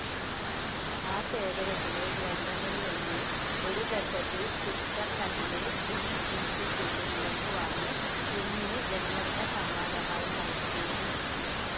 ആ ശേഖരത്തിലെ ഗ്രന്ഥങ്ങളിലൊന്ന് ഒരു ഘട്ടത്തിൽ സ്വിറ്റ്സർലൻഡിലെ യുങ്ങ് ഇൻസ്റ്റിറ്റ്യൂട്ട്‌ വിലക്കുവാങ്ങി യുങ്ങിന് ജന്മദിനസമ്മാനമായി നൽകിയിരുന്നു.